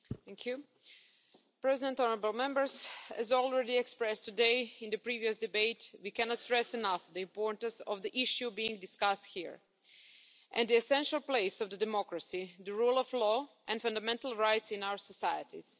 Mr President, as already expressed today in the previous debate, we cannot stress enough the importance of the issue being discussed here, and the essential place of democracy, the rule of law and fundamental rights in our societies.